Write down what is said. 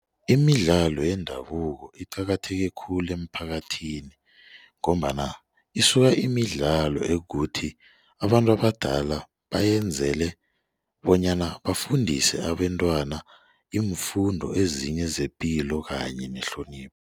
Imidlalo yendabuko iqakatheke khulu emphakathini ngombana isuka imidlalo ekuthi abantu abadala bayenzele bonyana bafundise abentwana iimfundo ezinye zepilo kanye nehlonipho.